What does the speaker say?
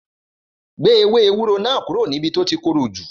Gbé ewé ewúro náà kúrò níbí o ti korò jù